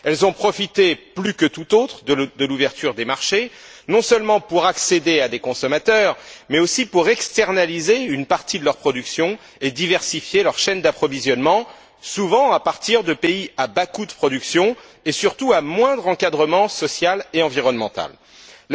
Elles ont profité plus que tout autre de l'ouverture des marchés, non seulement pour accéder à des consommateurs, mais aussi pour externaliser une partie de leur production et diversifier leur chaîne d'approvisionnement, souvent à partir de pays à bas coûts de production et, surtout, avec des règles sociales et environnementales moins strictes.